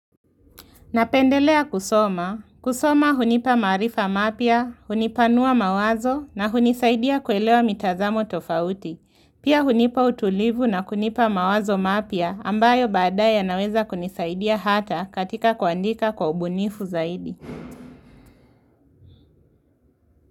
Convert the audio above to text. Napendelea kusoma. Kusoma hunipa maarifa mapya, hunipanua mawazo na hunisaidia kuelewa mitazamo tofauti. Pia hunipa utulivu na kunipa mawazo mapya ambayo baadaye yanaweza kunisaidia hata katika kuandika kwa ubunifu zaidi.